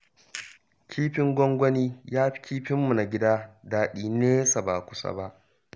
Kifin gwangwani ya fi kifinmu na gida daɗi nesa ba kusa ba